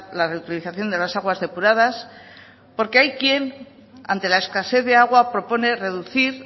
la reutilización de las aguas depuradas porque hay quien ante la escasez de agua propone reducir